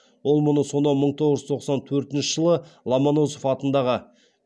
ол мұны сонау мың тоғыз жүз тоқсан төртінші жылы ломоносов атындағы